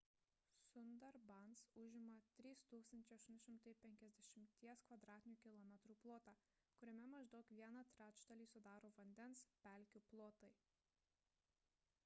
sundarbans užima 3 850 km² plotą kuriame maždaug vieną trečdalį sudaro vandens / pelkių plotai